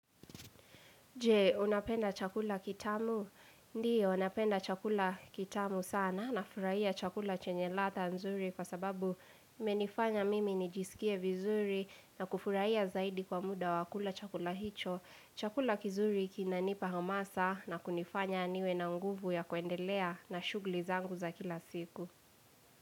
Je, unapenda chakula kitamu? Ndiyo, napenda chakula kitamu sana n furahia chakula chenye ladha nzuri kwa sababu imenifanya mimi nijisikie vizuri na kufurahia zaidi kwa muda wa kula chakula hicho. Chakula kizuri kinanipa hamasa na kunifanya niwe na nguvu ya kuendelea na shughuli zangu za kila siku.